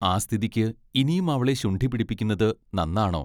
ആ സ്ഥിതിക്ക് ഇനിയും അവളെ ശുണ്ഠി പിടിപ്പിക്കുന്നത് നന്നാണോ?